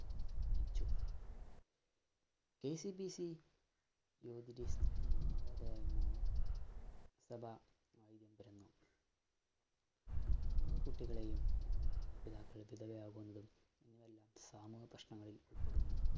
KCB എന്ന സഭ നമ്മടെ കുട്ടികളെയും, ഇവയെല്ലാം സാമൂഹിക പ്രശ്നങ്ങളില്‍ ഉള്‍പ്പെടുന്നു.